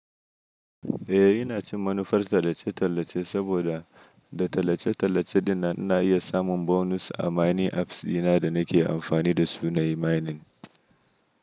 Eh, ina cin manufar tallace-tallace saboda da tallace-tallace dina ina iya samun bonus a mining apps dina da nake amfani da su na yi mining.